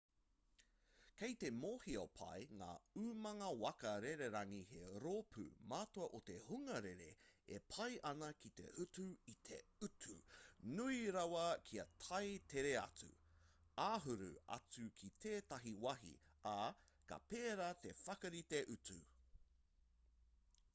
kei te mōhio pai ngā umanga waka rererangi he rōpū matua o te hunga rere e pai ana ki te utu i te utu nui rawa kia tae tere atu āhuru atu ki tētahi wāhi ā ka pērā te whakarite utu